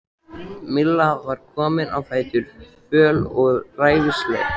Milla var komin á fætur, föl og ræfilsleg.